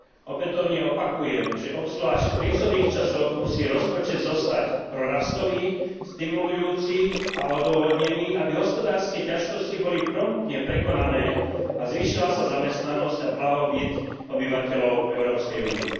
Opätovne opakujem, že obzvlášť v krízových časoch musí rozpočet zostať prorastový, stimulujúci a odôvodnený, aby hospodárske ťažkosti boli promptne prekonané a zvýšila sa zamestnanosť a blahobyt obyvateľov Európskej únie.